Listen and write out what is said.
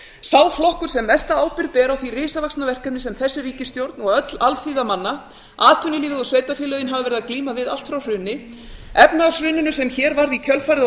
sá flokkur sem mesta ábyrgð ber á því risavaxna verkefni sem þessi ríkisstjórn og öll alþýða manna atvinnulífið og sveitarfélögin hafa verið að glíma við allt frá hruni efnahagshruninu sem hér varð í kjölfarið á